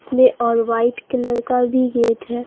इसमें और white colour का भी गेट है।